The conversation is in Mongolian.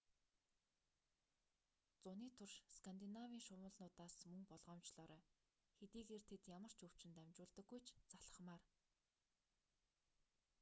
зуны туршид скандинавын шумуулнуудаас мөн болгоомжлоорой хэдийгээр тэд ямар ч өвчин дамжуулдаггүй ч залхмаар